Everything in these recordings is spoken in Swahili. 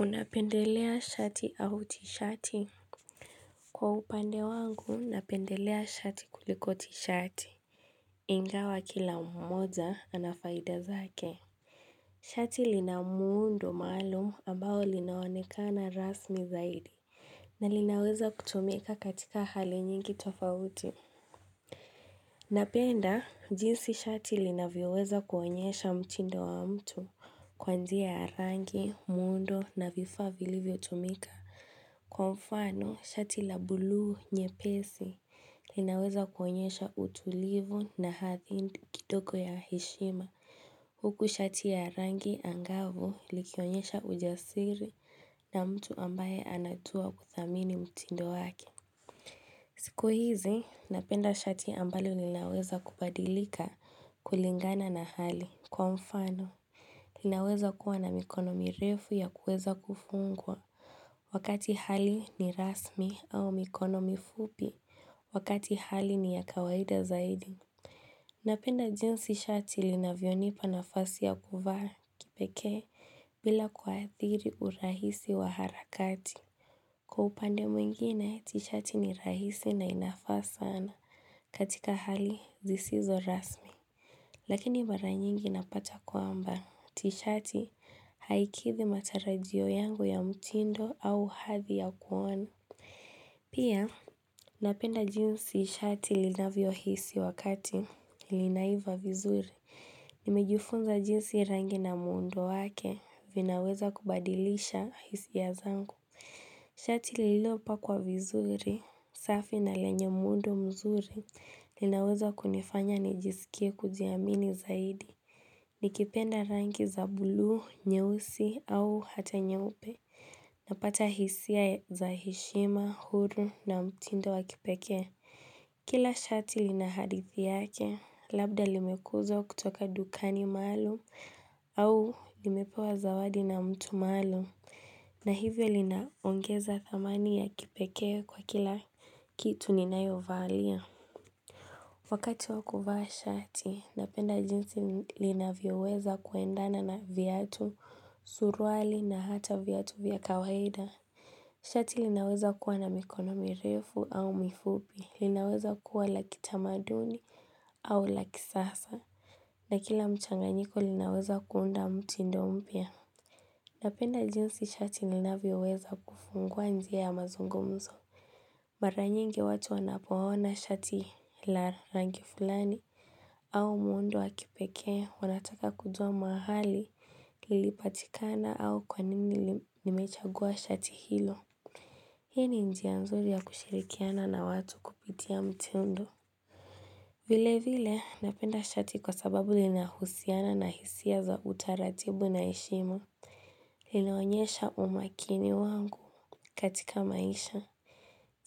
Unapendelea shati au tishati? Kwa upande wangu, napendelea shati kulikoti shati. Ingawa kila mmoja, anafaida zake. Shati lina muundo maalum ambao linaonekana rasmi zaidi. Na linaweza kutumika katika hali nyingi tofauti. Napenda, jinsi shati linavyoweza kuonyesha mtindo wa mtu, kwa njia ya rangi, muundo na vifaa vilivyo tumika. Kwa mfano, shati la buluu nyepesi linaweza kuonyesha utulivu na hathi kitoko ya hishima. Huku shati ya rangi angavu likionyesha ujasiri na mtu ambaye anatua kuthamini mtindo wake. Siku hizi, napenda shati ambalo linaweza kubadilika kulingana na hali kwa mfano. Linaweza kuwa na mikono mirefu ya kuweza kufungwa. Wakati hali ni rasmi au mikono mifupi. Wakati hali ni ya kawaida zaidi. Napenda jinsi shati linavyonipa nafasi ya kuvaa, kipekee, bila kwaathiri urahisi wa harakati. Kwa upande mwingine, tishati ni rahisi na inafa sana. Katika hali, zisizo rasmi. Lakini mara nyingi napata kwamba. Tishati, haikithi matarajio yangu ya mtindo au hathi ya kuona. Pia, napenda jinsi shati linavyo hisi wakati. Linaiva vizuri. Nimejufunza jinsi rangi na muundo wake vinaweza kubadilisha hisia ya zangu. Shati lililopa kwa vizuri, safi na lenye muundo mzuri. Ninaweza kunifanya nijisikie kujiamini zaidi nikipenda rangi za bulu, nyeusi au ata nyeupe. Napata hisia za hishima, huru na mtindo wakipekee. Kila shati lina hadithi yake. Labda limekuza kutoka dukani maalum. Au limepewa zawadi na mtu maalum. Na hivyo linaongeza thamani ya kipekee kwa kila kitu ninayo valia. Wakati wa kuvaa shati, napenda jinsi linavyoweza kuendana na viatu, suruali na hata viatu vya kawaida. Shati linaweza kuwa na mikono mirefu au mifupi. Linaweza kuwa la kitamaduni au lakisasa. Na kila mchanganyiko linaweza kuunda mutindo mpya. Napenda jinsi shati linavyoweza kufungua njia ya mazungumzo. Mara nyingi watu wanapoona shati la rangi fulani au muundo wakipekee, wanataka kujua mahali lilipatikana au kwanini limechagua shati hilo. Hii ni njia nzuri ya kushirikiana na watu kupitia mtendo. Vile vile, napenda shati kwa sababu linahusiana na hisia za utaratibu na heshima. Linaonyesha umakini wangu katika maisha.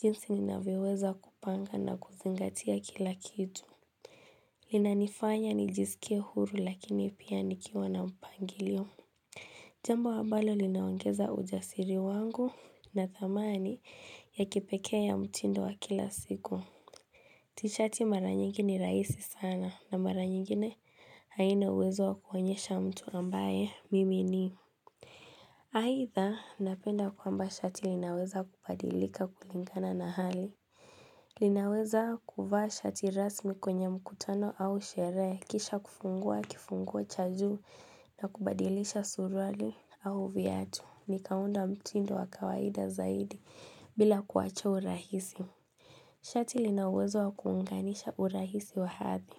Jinsi ninavyoweza kupanga na kuzingatia kila kitu. Lina nifanya nijisikie huru lakini pia nikiwa na mpangilio. Jambo ambalo linaongeza ujasiri wangu na thamani ya kipekee ya mtindo wa kila siku. Tishati mara nyingi ni rahisi sana na mara nyingine haina uwezo wakuonyesha mtu ambaye mimi ni. Haitha, napenda kwamba shati linaweza kupadilika kulingana na hali. Linaweza kuvaa shati rasmi kwenye mkutano au sherehe kisha kufungua kifunguo cha juu na kubadilisha suruali au viatu. Nikaunda mtindo wakawaida zaidi bila kuwacha urahisi. Shati lina uwezo wa kuunganisha urahisi wa hathi.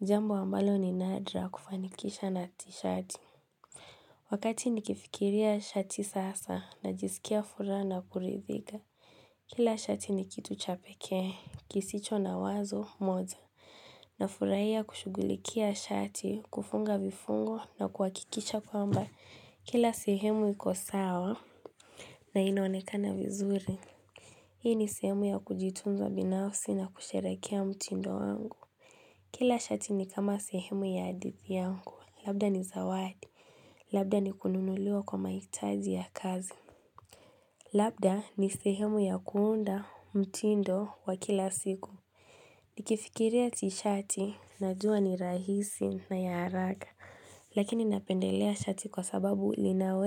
Jambo ambalo ni nadra kufanikisha na tishati. Wakati nikifikiria shati sasa na jisikia furaha na kurithika. Kila shati nikitu chapekee. Kisicho na wazo moza. Na furahia kushugulikia shati kufunga vifungo, na kuhakikisha kwamba, Kila sehemu iko sawa na inaonekana vizuri. Hii ni sehemu ya kujitunza binafsi na kusherekea mtindo wangu. Kila shati ni kama sehemu ya hadithi yangu, Labda ni zawadi. Labda ni kununuliwa kwa mahitaji ya kazi, Labda ni sehemu ya kuunda mtindo wa kila siku. Nikifikiria tishati, Najua ni rahisi na ya haraka. Lakini napendelea shati kwa sababu linawe.